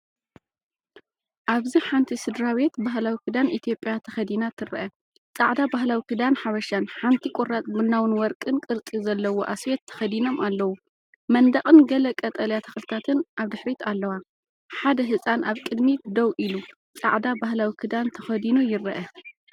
ኣብዚ ሓንቲ ስድራቤት ባህላዊ ክዳን ኢትዮጵያ ተኸዲና ትርአ። ጻዕዳ ባህላዊ ክዳን ሓበሻን ሓንቲ ቁራጽ ቡናዊን ወርቅን ቅርጺ ዘለዎ ኣስዌት ተኸዲኖም ኣለዉ። መንደቕን ገለ ቀጠልያ ተኽልታትን ኣብ ድሕሪት ኣለዋ። ሓደ ህጻን ኣብ ቅድሚት ደው ኢሉ፡ጻዕዳ ባህላዊ ክዳን ተኸዲኑ ይርአ።